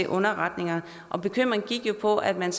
underretningerne bekymringen gik jo på at man